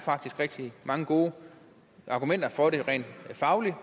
rigtig mange gode argumenter for det rent fagligt